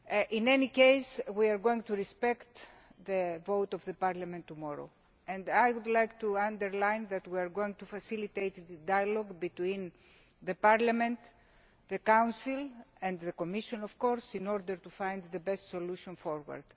In any case, we are going to respect the vote of Parliament tomorrow and I would like to underline that we are going to facilitate a dialogue between Parliament, the Council and the Commission in order to find the best solution forward.